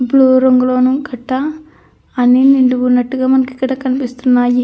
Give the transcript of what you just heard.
Blue రంగులోని కట్ట అన్ని నిండుగా ఉన్నట్టుగా మనకి ఇక్కడ కనిపిస్తుంది.